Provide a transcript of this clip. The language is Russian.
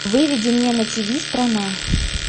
выведи мне на тиви страна